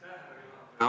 Aitäh, härra juhataja!